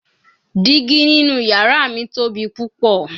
Digi ninu yara mi tobi pupọ